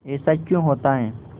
ऐसा क्यों होता है